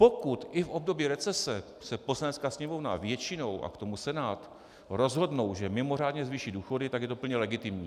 Pokud i v období recese se Poslanecká sněmovna většinou, a k tomu Senát, rozhodnou, že mimořádně zvýší důchody, tak je to plně legitimní.